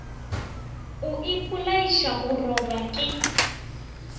o ipolaiša go robja ke